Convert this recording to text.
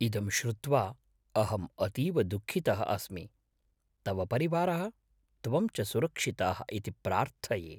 इदं श्रुत्वा अहं अतीव दुःखितः अस्मि, तव परिवारः, त्वं च सुरक्षिताः इति प्रार्थये।